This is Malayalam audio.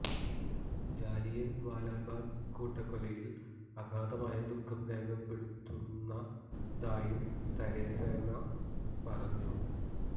ജാലിയന് വാലാബാഗ് കൂട്ടക്കൊലയില് അഗാധമായ ദുഖം രേഖപ്പെടുത്തുന്നതായും തെരേസ മേ പറഞ്ഞു